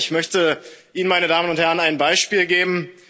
Und warum? Ich möchte Ihnen, meine Damen und Herren, ein Beispiel geben.